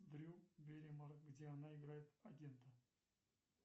дрю бэрримор где она играет агента